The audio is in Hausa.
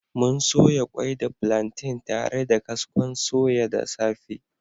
Mun soya kwai da plantain tare da kaskon soya da safe